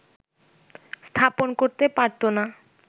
স্থাপন করতে পারত না